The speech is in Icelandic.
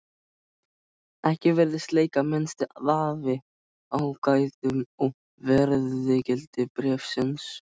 Ekki virðist leika minnsti vafi á gæðum og verðgildi bréfsins.